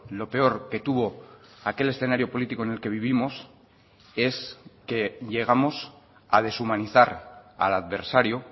lo peor que tuvo aquel escenario político en el que vivimos es que llegamos a deshumanizar al adversario